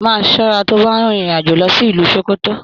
Máa ṣọra to bá n rin irin-ajo lọ sí ìlú Sókótó!